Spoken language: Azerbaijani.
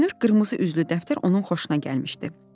Görünür qırmızı üzlü dəftər onun xoşuna gəlmişdi.